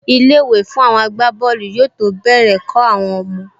Ilé-ìwé fún àwọn agbábọ́ọ̀lù yóò tó bẹ̀rẹ̀ kọ́ àwọn ọmọ